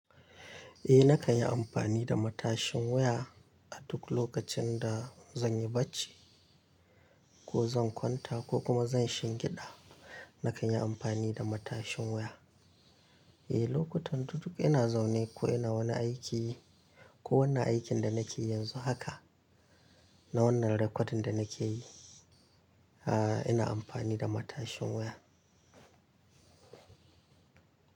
Eh na kan yi amfani da matashin wuya a duk lokacin da zan yi bacci ko zan kwanta ko kuma zan shiga gida. Na kan yi amfani da matashin waya. Eh lokutan da duk ina zaune ko ina wannan aiki ko wannan aikin da nake yanzu haka na wannan recording da nake yi, ina amfani da matashin waya.